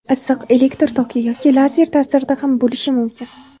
Issiq, elektr toki yoki lazer ta’sirida ham bo‘lishi mumkin.